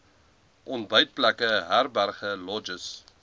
ontbytplekke herberge lodges